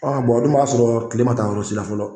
a dun b'a sɔrɔ kile ma taa yɔrɔ sila fɔlɔ.